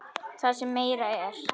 Það sem meira er.